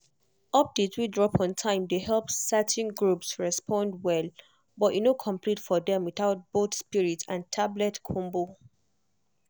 update wey drop on time dey help certain groups respond well but e no complete for dem without both spirit and tablet combo.